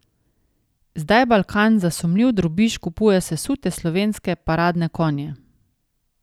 Zdaj Balkan za sumljiv drobiž kupuje sesute slovenske paradne konje.